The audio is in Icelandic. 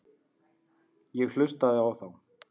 Ég hlustaði á þá.